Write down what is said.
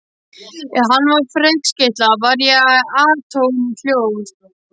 Ef hann var ferskeytla var ég atómljóð.